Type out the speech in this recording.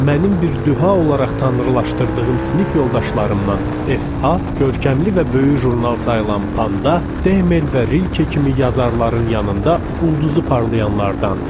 Mənim bir düha olarq tanrılaşdırdığım sinif yoldaşlarımdan FA, görkəmli və böyük jurnal sayılan Panda, Demel və Rilke kimi yazarların yanında ulduzu parlayanlardandır.